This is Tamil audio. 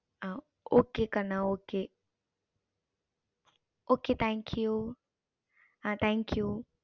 okay கண்ணா okay okay thank you thank you